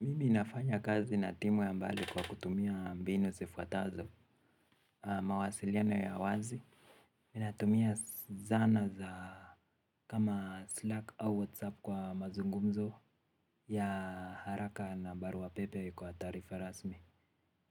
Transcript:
Mimi nafanya kazi na timu ya mbali kwa kutumia mbinu sifuatazo. Mawasiliano ya wazi. Mi natumia zana za kama Slack au WhatsApp kwa mazungumzo ya haraka na baruwa pepe kwa tarifa rasmi.